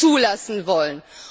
zulassen wollen.